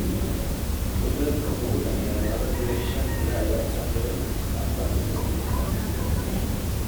"Qoto-beerku wuxuu u dhexeeyaa laba dibic shan ilaa iyo afar dibic awar sentimitar